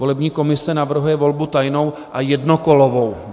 Volební komise navrhuje volbu tajnou a jednokolovou.